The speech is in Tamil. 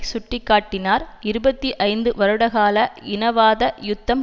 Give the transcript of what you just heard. சுட்டி காட்டினார் இருபத்தி ஐந்து வருடகால இனவாத யுத்தம்